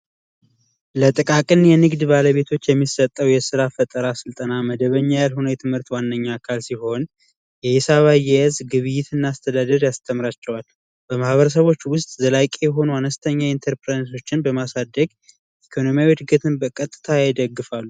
ለጥቃቅን የንግድ ባለቤቶች የሚሰጠው የስራ ስልጠና መደበኛ ያልሆነ ዋነኛ የትምህርት ዋነኛ አካል ሲሆን የሂሳብ አያያዝ እና ግብይት እና አስተዳደር ያስተምራቸዋል። በማህበረሰቦች ውስጥ ዘላቂ የሆኑ አነስተኛ ኢንተርፕራይዞች በማሳደግ ኢኮኖሚያዊ እድገትን በቀጥታ ይደግፋሉ።